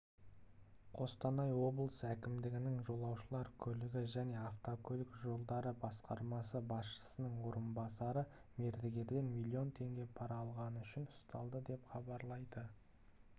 қостанай облысы әкімдігінің жолаушылар көлігі және автокөлік жолдары басқармасы басшысының орынбасары мердігерден млн теңге пара алғаны үшін ұсталды деп хабарлайды